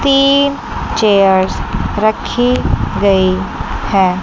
तीन चेयर्स रखी गई है।